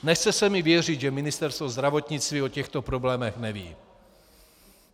Nechce se mi věřit, že Ministerstvo zdravotnictví o těchto problémech neví.